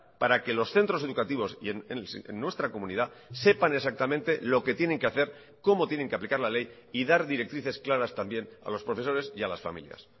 para que los centros educativos y en nuestra comunidad sepan exactamente lo que tienen que hacer cómo tienen que aplicar la ley y dar directrices claras también a los profesores y a las familias